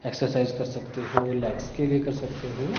Exercise कर सकते हो लेग्स के लिए कर सकते हो।